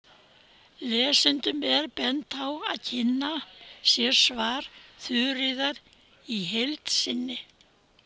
Lesendum er bent á að kynna sér svar Þuríðar í heild sinni.